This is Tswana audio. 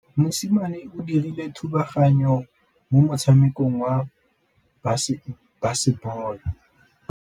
Mosimane o dirile thubaganyô mo motshamekong wa basebôlô.